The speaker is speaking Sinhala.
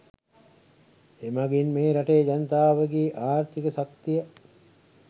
එමගින් මේ රටේ ජනතාවගේ ආර්ථික ශක්තිය